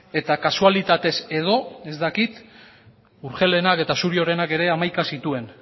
eta kasualitatez edo ez dakit urgellenak eta suriorenak ere hamaika zituen